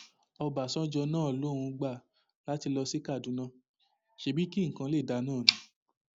ọbàṣánjọ náà lòun gbà láti lọ sí kaduna ṣebí kí nǹkan lè dáa náà ni